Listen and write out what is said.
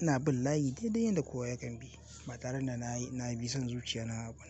Ina bin layi daidai yanda kowa yakan bi, ba tare da na yi, na bi son zuciya na ba.